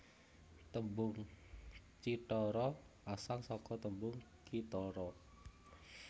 Tembung cithara asal saka tembung kithara